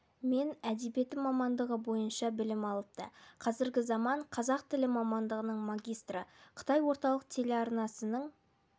мен әдебиеті мамандығы бойынша білім алыпты қазіргі заман қазақ тілі мамандығының магистры қытай орталық телеарнасының